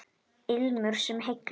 Ilmur sem heillar